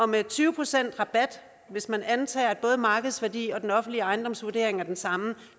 med tyve procent rabat hvis man antager at både markedsværdi og den offentlige ejendomsvurdering er den samme